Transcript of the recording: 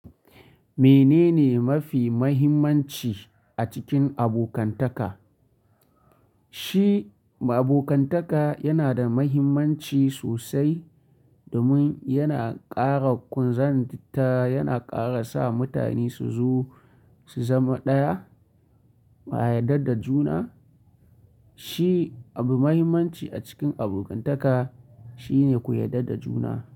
Menene mafi mahimmanci a cikin abokantaka? Shi abokantaka yana da mahimmanci sosai, domin yana ƙara kunzanta, yana ƙara sa mutane su zo su zama ɗaya, a yadda da juna. Shi abu mahimmanci a cikin abokantaka, shine ku yadda da juna.